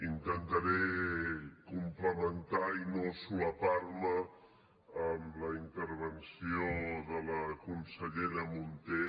intentaré complementar i no solapar me amb la intervenció de la consellera munté